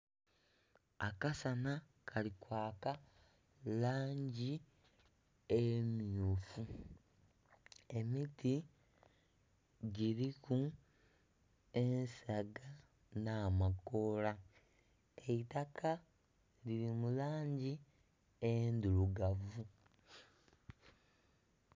Akasana kali kwaka mu langi emmyufu, emiti giriku ensaga n'amakoola eitaka liri mu langi endhirugavu.